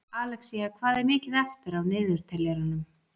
Alexía, hvað er mikið eftir af niðurteljaranum?